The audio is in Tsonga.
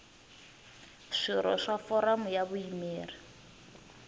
swirho swa foramu ya vuyimeri